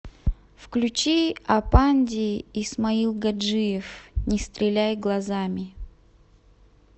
включи апанди исмаилгаджиев не стреляй глазами